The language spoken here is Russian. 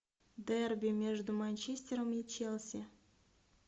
дерби между манчестером и челси